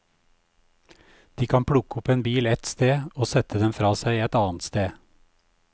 De kan plukke opp en bil ett sted og sette den fra seg et annet sted.